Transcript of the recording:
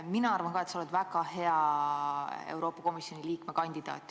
Mina arvan ka, et sa oled väga hea Euroopa Komisjoni liikme kandidaat.